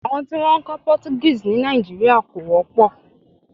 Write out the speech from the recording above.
Àwọn tí wọn ń kọ́ Portuguese ní Nàìjíríà kò wọ́pọ̀.